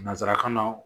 Nansarakan na